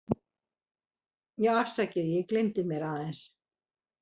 Já afsakið, ég gelymdi mér aðeins.